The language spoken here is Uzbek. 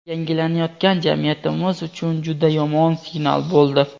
yangilanayotgan jamiyatimiz uchun juda yomon "signal" bo‘ldi.